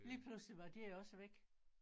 Lige pludselig var de også væk